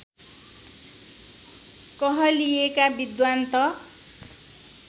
कहलिएका विद्वान् त